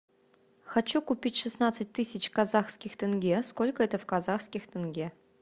хочу купить шестнадцать тысяч казахских тенге сколько это в казахских тенге